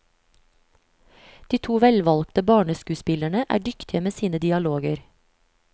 De to velvalgte barneskuespillerne er dyktige med sine dialoger.